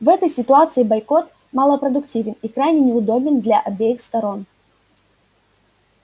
в этой ситуации бойкот малопродуктивен и крайне неудобен для обеих сторон